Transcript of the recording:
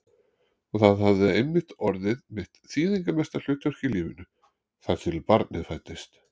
Og það hafði einmitt orðið mitt þýðingarmesta hlutverk í lífinu, þar til barnið fæddist.